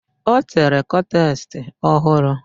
Ọ tere kọtes ọ hụrụ.